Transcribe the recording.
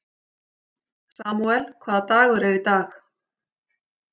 Samúel, hvaða dagur er í dag?